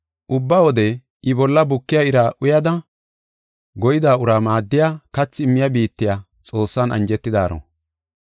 Ubba wode I bolla bukiya ira uyada, goyida uraa maaddiya kathi immiya biittiya Xoossan anjetidaaro.